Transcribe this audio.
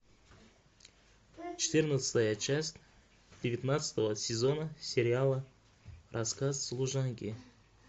четырнадцатая часть девятнадцатого сезона сериала рассказ служанки